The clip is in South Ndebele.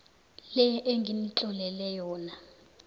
le enginitlolele yona